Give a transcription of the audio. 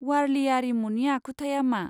वारलि आरिमुनि आखुथाया मा?